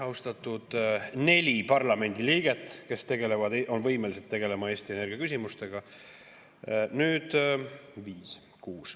Austatud neli parlamendiliiget, kes on võimelised tegelema Eesti energiaküsimustega!